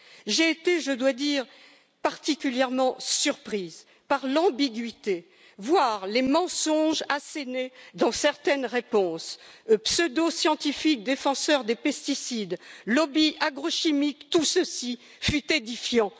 J'ai été, je dois dire, particulièrement surprise par l'ambiguïté, voire les mensonges assénés dans certaines réponses pseudo scientifiques des défenseurs des pesticides et des lobbies agrochimiques tout ceci fut édifiant.